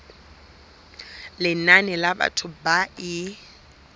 lenane la batho ba e